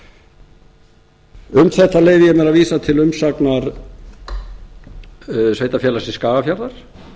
þetta leyfi ég mér að vísa til umsagnar sveitarfélagsins skagafjarðar